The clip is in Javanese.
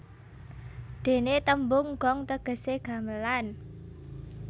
Dene tembung gong tegese gamelan